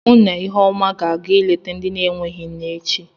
Mụ na Iheọma ga-aga ịlete ndị na-enweghị nne echi.